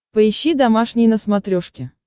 поищи домашний на смотрешке